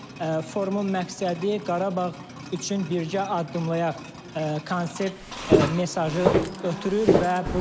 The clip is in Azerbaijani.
Forumun məqsədi Qarabağ üçün birgə addımlayaq konsept mesajı ötürür.